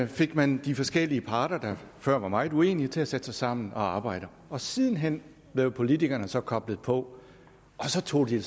fik man de forskellige parter der før var meget uenige til at sætte sig sammen og arbejde og siden hen blev politikerne så koblet på og så tog de